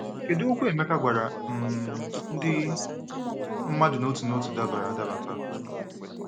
Kedu okwu Emeka gwara um ndị mmadụ n'otu n'otu dabara adaba taa?